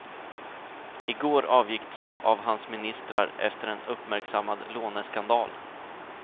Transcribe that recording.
I går avgick två av hans ministrar efter en uppmärksammad låneskandal.